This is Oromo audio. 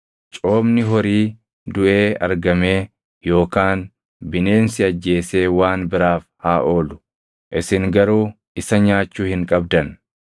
Coomni horii duʼee argamee yookaan bineensi ajjeesee waan biraaf haa oolu; isin garuu isa nyaachuu hin qabdan.